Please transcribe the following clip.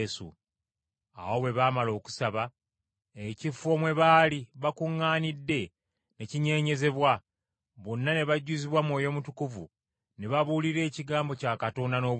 Awo bwe baamala okusaba, ekifo mwe baali bakuŋŋaanidde ne kinyeenyezebwa, bonna ne bajjuzibwa Mwoyo Mutukuvu ne babuulira ekigambo kya Katonda n’obuvumu.